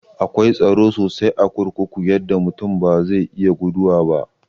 Akwai tsaro sosai a kurkuku yadda mutum ba zai iya guduwa ba.